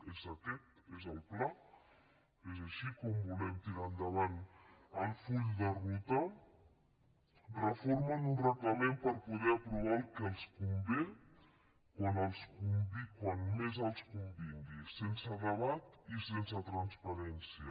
és aquest és el pla és així com volem tirar endavant el full de ruta reformen un reglament per poder aprovar el que els convé quan més els convingui sense debat i sense transparència